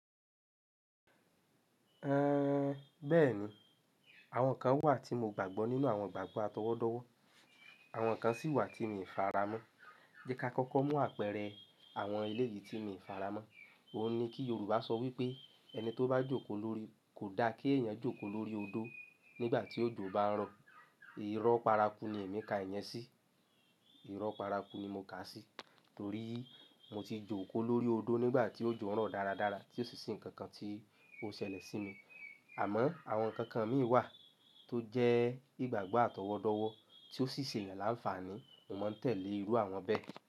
Ẹn, bẹ́ẹ̀ni, àwọn kan wà tí mo gbàgbọ́ nínú àwọn ìgbàgbọ́ atọwọ́dọ́wọ́, àwọn kan sì wà tí mi ò faramọ́. Jẹ́ ká kọ́kọ́ mú àpẹẹrẹ àwọn èlé yìí tí mi ò faramọ́. Ó ní kí Yorùbá sọ wí pé "ẹni tó bá jókòó lórí kò da kí ẹ̀yàn jókòó lórí odó nígbà tí òjò bá ń rọ̀". Irọ́ paraku ni èmi ká ìyẹn sí. Irọ́ paraku ni mo kà á sí torí mo ti jókòó lórí odó nígbà tí òjò ń rọ̀ dáradára tí ó sì ṣi nǹkan kan tí ó ṣẹlẹ̀ sí mi. Àmọ́ àwọn ǹkankan mì wà tó jẹ́ ìgbàgbọ́ àtọwọ́dọ́wọ́ tí ó sì ṣe èyàn lánfààní mo máa ń tẹ̀lé irú àwọn bẹ́ẹ̀.